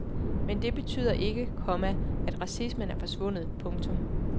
Men det betyder ikke, komma at racismen er forsvundet. punktum